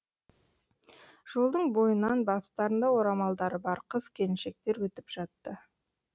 жолдың бойынан бастарында орамалдары бар қыз келіншектер өтіп жатты